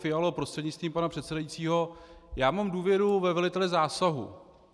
Fialo prostřednictvím pana předsedajícího, já mám důvěru ve velitele zásahu.